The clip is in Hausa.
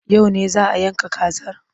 Yau ne za a yanka kazar?